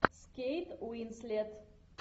с кейт уинслет